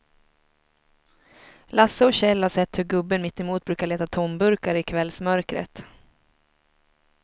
Lasse och Kjell har sett hur gubben mittemot brukar leta tomburkar i kvällsmörkret.